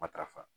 Matarafa